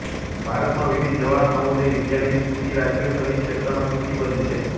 ભારતમાં વિવિધ જવાહર નવોદય વિદ્યાલયની સૂચિ રાજ્યો સહિત ક્ષેત્રમાં સૂચિબદ્ધ છે